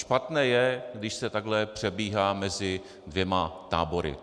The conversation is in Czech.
Špatné je, když se takhle přebíhá mezi dvěma tábory.